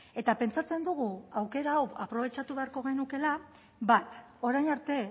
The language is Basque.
eta pentsatzen dugu aukera hau aprobetxatu beharko genukeela bat orain arte